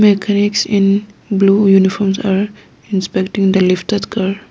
Mechanics in blue uniform are inspecting the lifted car.